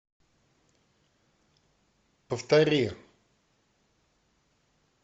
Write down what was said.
повтори